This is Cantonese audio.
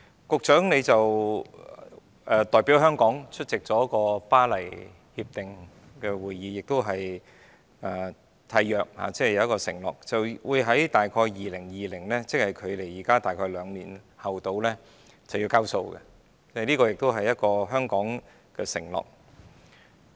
局長代表香港出席《巴黎協定》會議，並作出一項承諾，就是於2020年左右——即距今約兩年——便"交數"，這是香港的承諾。